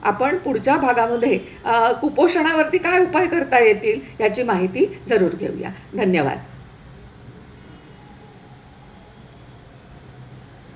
आपण पुढच्या भागामध्ये अह कुपोषणावरती काय उपाय करता येतील ह्याची माहिती जरूर घेऊया. धन्यवाद.